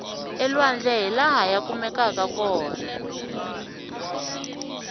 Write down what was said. elwandle hilaha ya kumekaku kona